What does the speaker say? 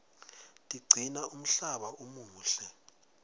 tiqcina umhlaba umuhle